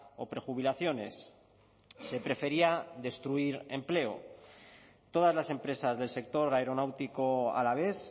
o prejubilaciones se prefería destruir empleo todas las empresas del sector aeronáutico alavés